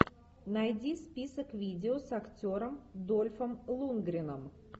найди список видео с актером дольфом лундгреном